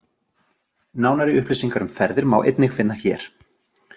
Nánari upplýsingar um ferðir má einnig finna hér.